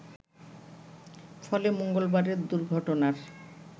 ফলে মঙ্গলবারের দুর্ঘটনার